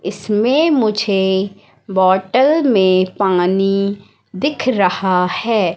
इसमें मुझे बॉटल में पानी दिख रहा है।